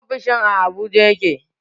Ofishin a Abuja yake